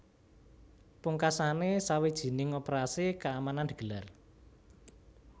Pungkasané sawijining operasi keamanan digelar